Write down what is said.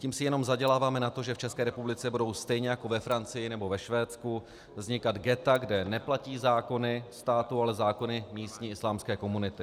Tím si jenom zaděláváme na to, že v České republice budou stejně jako ve Francii nebo ve Švédsku vznikat ghetta, kde neplatí zákony státu, ale zákony místní islámské komunity.